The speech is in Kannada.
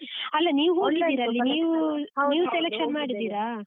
ಅಲ್ಲ ನೀವು ಹೋಗಿದೀರಾ selection ಮಾಡಿದ್ದೀರಾ?